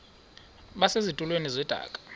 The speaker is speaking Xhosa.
base zitulmeni zedaka